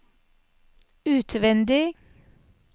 utvendig